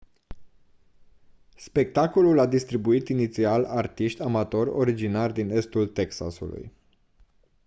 spectacolul a distribuit inițial artiști amatori originari din estul texasului